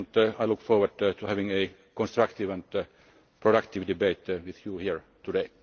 I look forward to having a constructive and productive debate with you here today.